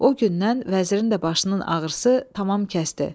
O gündən vəzirin də başının ağrısı tamam kəsdi.